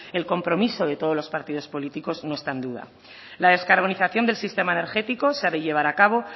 el compromiso de todos los partidos políticos no está en duda la descarbonización del sistema energético se ha de llevar a cabo